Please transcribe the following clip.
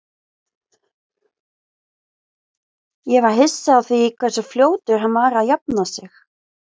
Ég var hissa á því hversu fljótur hann var að jafna sig.